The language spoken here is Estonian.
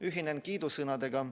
Ühinen kiidusõnadega.